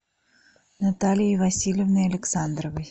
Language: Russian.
натальей васильевной александровой